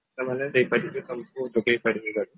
ସେମାନେ ଦେଇପାରିବେ ତମକୁ ଯୋଗେଇ ପାରିବେ